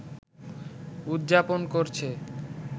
উদযাপন করছে